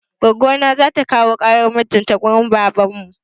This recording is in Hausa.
Goggo na za ta kawo ƙaran mijin ta wurin babanmu.